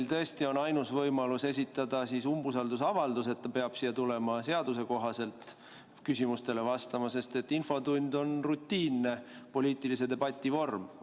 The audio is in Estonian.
Kas tõesti on meil siis ainus võimalus esitada umbusaldusavaldus, nii et ta peab siia tulema seaduse kohaselt küsimustele vastama, sest infotund on rutiinne poliitilise debati vorm?